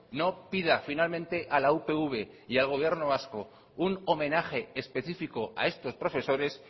no pida finalmente a la upv y al gobierno vasco un homenaje específico a estos profesores